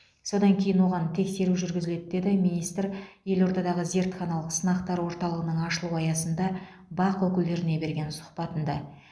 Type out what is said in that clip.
содан кейін оған тексеру жүргізіледі деді министр елордадағы зертханалық сынақтар орталығының ашылу аясында бақ өкілдеріне берген сұхбатында